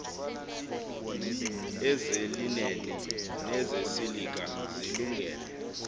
ezelineni nezesilika zilungele